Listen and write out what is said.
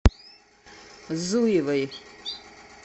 зуевой